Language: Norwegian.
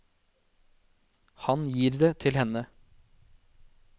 Han gir det til henne.